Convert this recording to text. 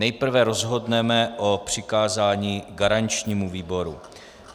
Nejprve rozhodneme o přikázání garančnímu výboru.